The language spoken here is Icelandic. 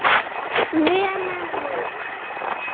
NEMA NÚNA!!!